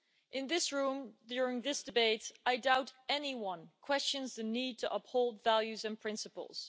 In this room, during this debate, I doubt anyone questions the need to uphold values and principles.